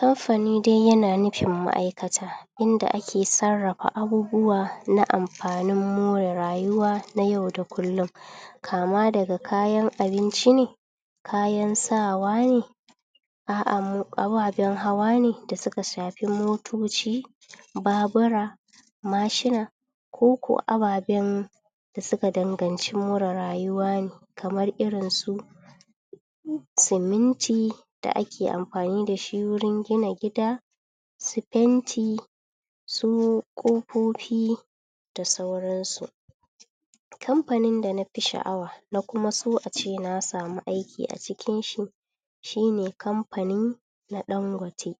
kamfani dai yana nufin ma'aikata inda ake sarrafa abubuwa na amfanin amfanin more rayuwa na yau da kullum kama daga kayan abinci ne kayan sawa ne a'a mo ababen hawa ne da suka shafi motoci babura mashina koko ababen da suka dangan ci more rayuwa kamar irin su ciminti da ake amfani da shi wurin gina gida su fenti su kofofi da sauransu kamfanin da nafi sha'awa na kuma so ace na samu aiki acikin shi shine kamfanin na dangote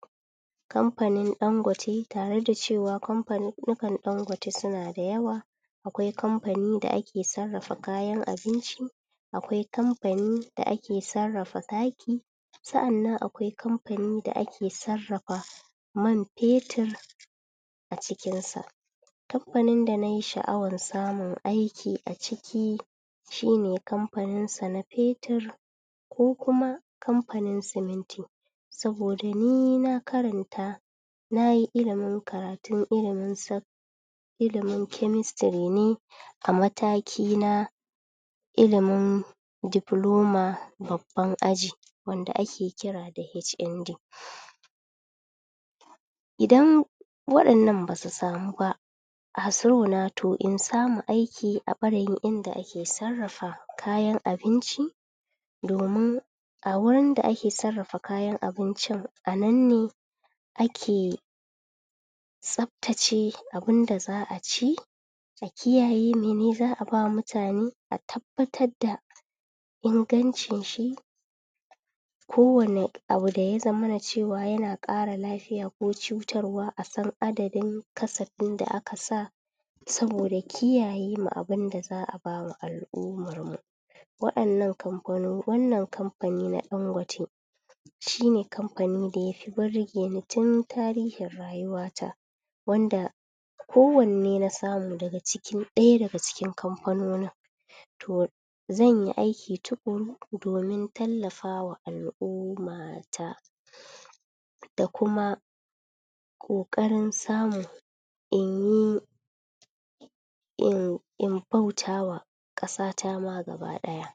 kamfanin dangote tare da cewa kamfanin nukan dangote suna da yawa akwai kamfanin da'ake sarrafa kayan abinci akwai kamfanin da ake sarrafa taki sa'an nan akwai kamnin da ake sarrafa man fetir a cikin sa kamfanin da nayi sha'awar samun aiki aciki shine kamnin sa na fetir ko kuma kamfanin siminti saboda ni na karanta nayi ilimin karatun ilimin sau ilimin kemistiri ne amataki na ilimin diploma babban aji wanda ake kira da HND idan wadan nan basu samu ba um to insamu aiki a barayin inda ake sarrafa kayan abinci domin a wurin da ake sarrafa kayan abincin anan ne ake tsftace abun da za'a ci a kiyaye mene za'aba ma mutane a tabbatar da inganshi shi ko wani abu daya zamana cewa yana kara lafiya ko cutarwa a san adadin kasafin da aka sa saboda kiyayema abun da za'a bama al-ummar mu wayannan kamfano wannan kamfani na dangote shine kamfanin da yafi birge ni tun tarihin rayuwa ta wanda ko wanne na samu daga cikin daya daga cikin kamfanonin to zanyi aiki tukuru domin tallafawa al-umma ta kuma kokarin samun inyi in in bautama kasata ma gaba daya